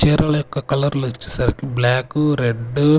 చీరల యొక్క కలర్లు వచ్చేసరికి బ్లాక్ రెడ్ .